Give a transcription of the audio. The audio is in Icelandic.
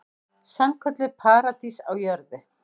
Sannkölluð paradís á jörðu.